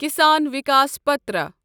Kisan Vikas Patra